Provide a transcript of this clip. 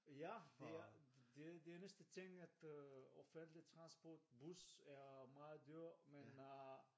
Ja det er det er næsten ting at offentlig transport bus er meget dyrt men øh